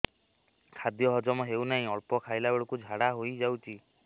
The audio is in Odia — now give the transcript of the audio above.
ଖାଦ୍ୟ ହଜମ ହେଉ ନାହିଁ ଅଳ୍ପ ଖାଇଲା ବେଳକୁ ଝାଡ଼ା ହୋଇଯାଉଛି